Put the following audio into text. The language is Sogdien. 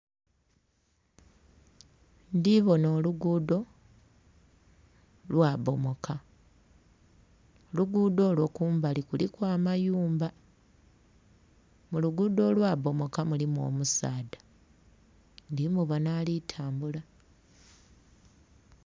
Ndhibonha olugudho lwa bomoka, olugudho olwo kumbali kuliku amayumba. Mulugudho olwa bomoka mulimu omusaadha ndhi mubonha ali tambula.